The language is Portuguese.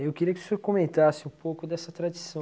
Eu queria que o senhor comentasse um pouco dessa tradição.